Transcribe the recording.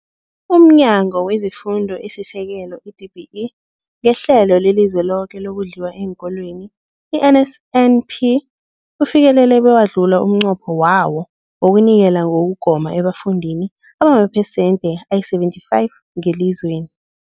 UmNyango wezeFundo esiSekelo, i-DBE, ngeHlelo leliZweloke lokoNdliwa eenKolweni, i-NSNP, ufikelele bewadlula umnqopho wawo wokunikela ngokugoma ebafundini abamaphesenthe ayi-75 ngelizweni.